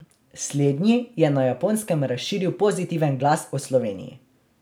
Slednji je na Japonskem razširil pozitiven glas o Sloveniji.